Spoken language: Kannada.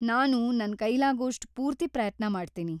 ನಾನು ನನ್‌ ಕೈಲಾಗೋಷ್ಟೂ ಪೂರ್ತಿ ಪ್ರಯತ್ನ ಮಾಡ್ತೀನಿ.